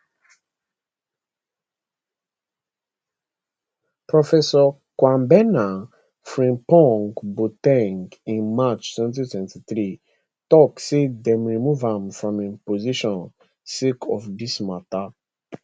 professor kwabena frimpongboa ten g in march 2023 tok say dey remove am from im position sake of dis mata